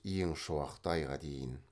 ең шуақты айға дейін